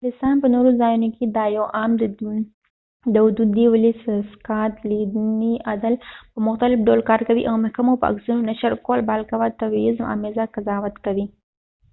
د انګلستان په نورو ځایونو کې دا یو عام دود دی ولې د سکاتلیندي عدل په مختلف ډول کار کوي او محکمو د عکسونو نشر کول بالقوه تبعیض آمیزه قضاوت کوي